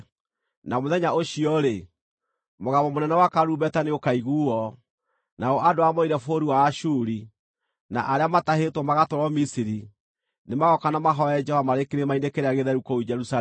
Na mũthenya ũcio-rĩ, mũgambo mũnene wa karumbeta nĩũkaiguuo. Nao andũ arĩa moorĩire bũrũri wa Ashuri, na arĩa maatahĩtwo magatwarwo Misiri, nĩmagooka na mahooe Jehova marĩ kĩrĩma-inĩ kĩrĩa gĩtheru kũu Jerusalemu.